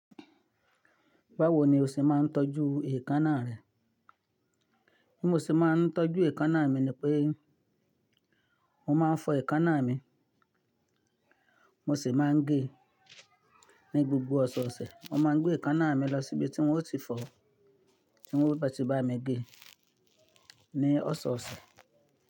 Báwo ni o ṣé máa ń tọ́jú èékánná rẹ? Bí mo ṣe máa ń tọ́jú èékánná mi ni pé mo máa ń fọ èékánná mi, mo sì máa ń gé ní gbogbo ọ̀sọ̀ọ̀sẹ̀. Mo má a gbé èékánná mi lọ síbi tí n ó ti fọ̀, tí n ó bá ti bá mi gé ní ọ̀sọ̀ọ̀sẹ̀.